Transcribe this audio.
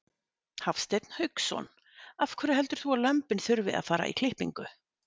Hafsteinn Hauksson: Af hverju heldur þú að lömbin þurfi að fara í klippingu?